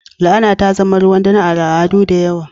La'ana ta zama ruwan dare a al'adu da yawa.